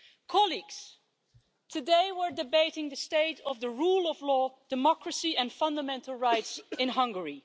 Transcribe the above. Colleagues, today we are debating the state of the rule of law, democracy and fundamental rights in Hungary.